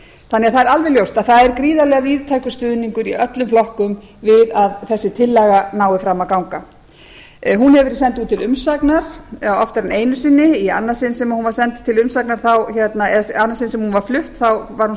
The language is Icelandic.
það er alveg ljóst að það er gríðarlega víðtækur stuðningur í öllum flokkum við að þessi tillaga nái fram að ganga hún hefur verið send út til umsagnar oftar en einu sinni í annað sinn sem hún var flutt var hún